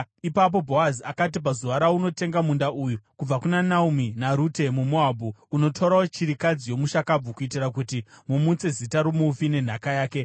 Ipapo Bhoazi akati, “Pazuva raunotenga munda uyu kubva kuna Naomi naRute muMoabhu, unotorawo chirikadzi yomushakabvu, kuitira kuti mumutse zita romufi nenhaka yake.”